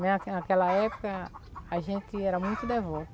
Na naquela época, a gente era muito